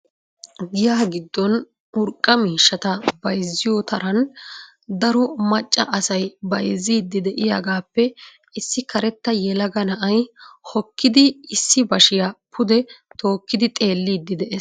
Giya giddon urqqa miishshata bayzziyoo taran daro macca asay bayzziiddi de"iyaagaappe issi karetta yelaga na"ay hokkidi issi bashiyaa pude tookkidi xeelliiddi de'ees.